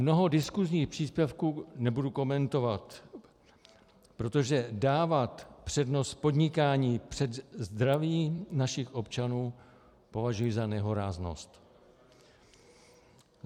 Mnoho diskusních příspěvků nebudu komentovat, protože dávat přednost podnikání před zdravím našich občanů považuji za nehoráznost.